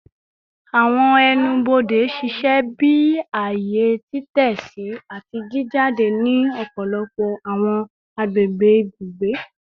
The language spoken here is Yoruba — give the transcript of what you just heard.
Awọn ẹnu-bode ṣiṣẹ bi aaye titẹsi ati ijade ni ọpọlọpọ awọn agbegbe ibugbe